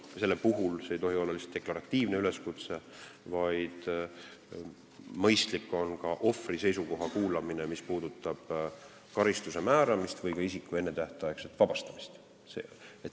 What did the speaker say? See ei tohi olla lihtsalt deklaratiivne üleskutse, vaid mõistlik on ka ohvri seisukoht ära kuulata, kui kõne all on karistuse määramine või isiku ennetähtaegne vabastamine.